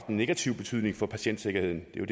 negativ betydning for patientsikkerheden det er